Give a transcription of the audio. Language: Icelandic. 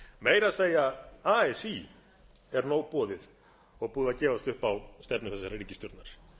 meira að segja así er nóg boðið og búið að gefast upp á stefnu þessarar ríkisstjórnar